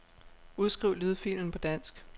Udskriv lydfilen på dansk.